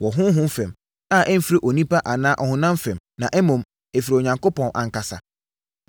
wɔ honhom fam, a ɛmfiri onipa anaa ɔhonam fam, na mmom ɛfiri Onyankopɔn ankasa.